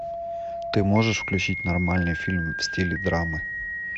ты можешь включить нормальный фильм в стиле драмы